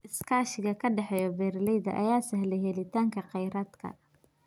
Iskaashiga ka dhexeeya beeralayda ayaa sahlaya helitaanka kheyraadka.